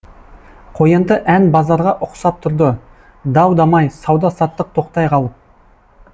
қоянды ән базарға ұқсап тұрды дау дамай сауда саттық тоқтай қалып